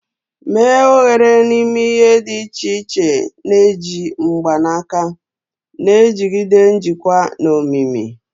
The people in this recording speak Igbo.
Mee oghere n'ime ihe dị iche iche na-eji mgbanaka, na-ejigide njikwa na omimi.